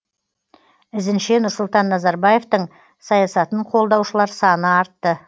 ізінше нұрсұлтан назарбаевтың саясатын қолдаушылар саны артты